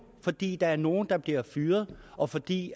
fordi der er nogle der bliver fyret og fordi